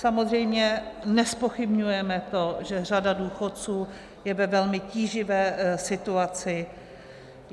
Samozřejmě nezpochybňujeme to, že řada důchodců je ve velmi tíživé situaci.